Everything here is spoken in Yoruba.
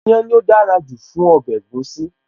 Iyán ni ó dára jù fún ọbẹ̀ egusi.